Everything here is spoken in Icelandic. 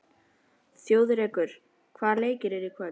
Þjóðrekur, hvaða leikir eru í kvöld?